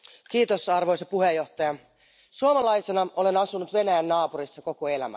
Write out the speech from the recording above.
Arvoisa puhemies, suomalaisena olen asunut Venäjän naapurissa koko elämäni.